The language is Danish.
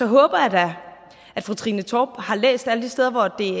håber jeg da at fru trine torp har læst alle de steder hvor de